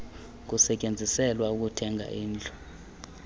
kusetyenziselwa ukuthenga indlu